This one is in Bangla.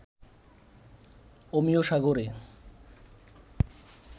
অমিয় সাগরে